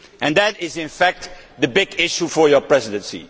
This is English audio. That is in fact the big issue for your presidency.